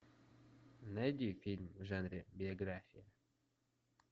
найди фильм в жанре биография